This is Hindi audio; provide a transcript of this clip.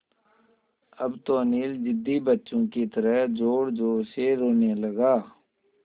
अब तो अनिल ज़िद्दी बच्चों की तरह ज़ोरज़ोर से रोने लगा